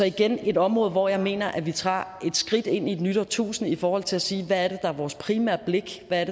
igen et område hvor jeg mener at vi tager et skridt ind i et nyt årtusinde i forhold til at sige hvad det er der er vores primære blik hvad